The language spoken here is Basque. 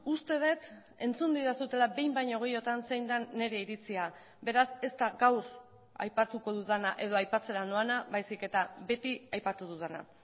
uste dut entzun didazuela behin baino gehiagotan zein den nire iritzia beraz ez da gaur aipatuko dudana edo aipatzera noana baizik eta beti aipatu dudana